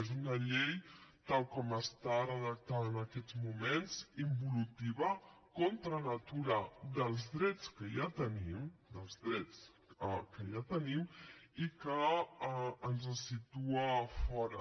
és una llei tal com està redactada en aquests moments involutiva contra natura dels drets que ja tenim dels drets que ja tenim i que ens situa fora